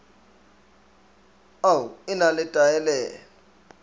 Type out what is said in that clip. au e na le taelelo